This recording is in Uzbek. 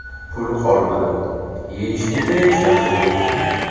Pul qolmadi, yeyishga hech narsa yo‘q.